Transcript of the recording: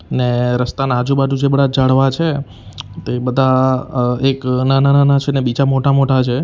ને રસ્તાના આજુ-બાજુ જે બધા ઝાડવા છે તે બધા અહ એક નાના-નાના છે ને બીજા મોટા-મોટા છે.